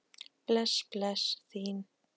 Bless bless, þín